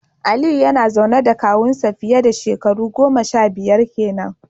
Aliyu yana zaune da kawun nasa fiye dashekaru goma sha biyar kenan.